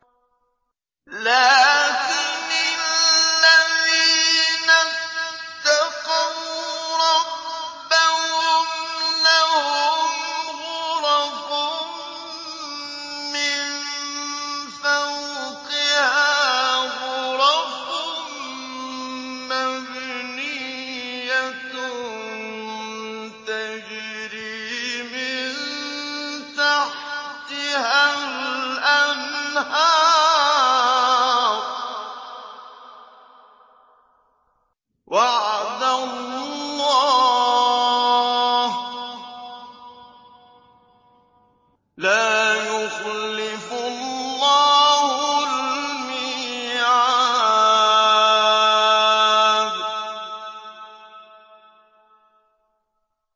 لَٰكِنِ الَّذِينَ اتَّقَوْا رَبَّهُمْ لَهُمْ غُرَفٌ مِّن فَوْقِهَا غُرَفٌ مَّبْنِيَّةٌ تَجْرِي مِن تَحْتِهَا الْأَنْهَارُ ۖ وَعْدَ اللَّهِ ۖ لَا يُخْلِفُ اللَّهُ الْمِيعَادَ